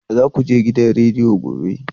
Za ku je gidan rediyo gobe?